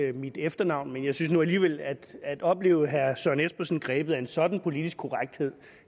af mit efternavn men jeg synes nu alligevel at at opleve herre søren espersen grebet af en sådan politisk korrekthed